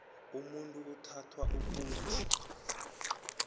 umuntu uthathwa ukuthi